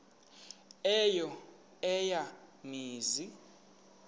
eyo eya mizi